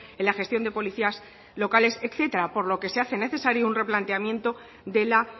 en la gestión de policías locales etcétera por lo que se hace necesario un replanteamiento de la